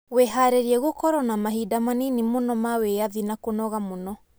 Wĩhaarĩrie gũkorũo na mahinda manini mũno ma wĩyathi na kũnoga mũno